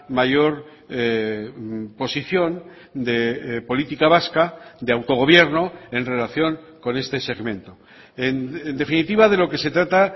mayor posición de política vasca de autogobierno en relación con este segmento en definitiva de lo que se trata